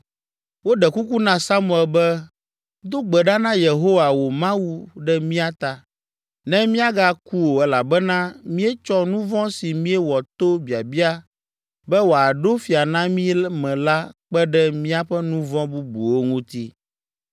Woɖe kuku na Samuel be, “Do gbe ɖa na Yehowa wò Mawu ɖe mía ta ne míagaku o elabena míetsɔ nu vɔ̃ si míewɔ to biabia be woaɖo fia na mí me la kpe ɖe míaƒe nu vɔ̃ bubuwo ŋuti.”